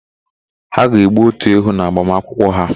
Ha ga-egbu ótù ewu n'agbamakwụkwọ ha.